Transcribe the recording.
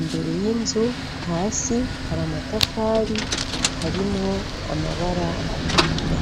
imbere y' inzu, hasi hari amatafari harimwo amabara atukura.